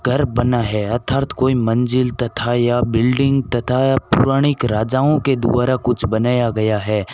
घर बना है अर्थात कोई मंजिल तथा या बिल्डिंग तथा पौराणिक राजाओं के द्वारा कुछ बनाया गया है।